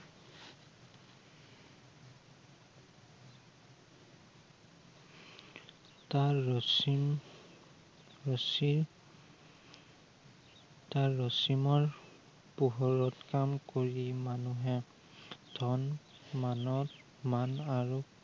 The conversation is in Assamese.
তাৰ ৰচিম, তাৰ ৰচী তাৰ ৰচিমৰ পোহৰত কাম কৰি মানুহে ধন মানৱ, মান আৰু